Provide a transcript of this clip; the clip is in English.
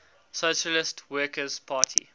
socialist workers party